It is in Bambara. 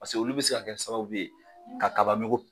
Paseke olu be se ka kɛ sababu ye ka kaba megu